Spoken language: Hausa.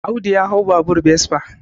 Audu ya hau babur besfa